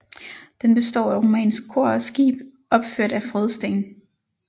Den består af romansk kor og skib opført af frådsten